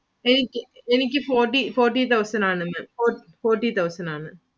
എനിക്ക് forty thousand ആണ് Maámforty thousand ആണ്.